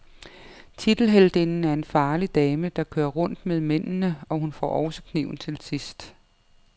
Tiltelheltinden er en farlig dame, der kører rundt med mændende, og hun får også kniven til sidst.